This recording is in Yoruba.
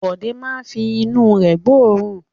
Bọ̀dé máa fi inú rẹ̀ gbóòórùn.